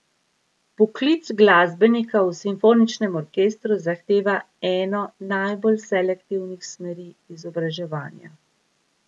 Poklic glasbenika v simfoničnem orkestru zahteva eno najbolj selektivnih smeri izobraževanja.